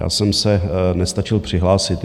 Já jsem se nestačil přihlásit.